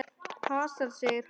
Hasar, segir hann.